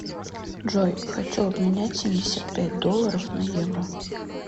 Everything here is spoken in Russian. джой хочу обменять семьдесят пять долларов на евро